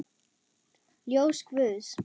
Ljós guðs.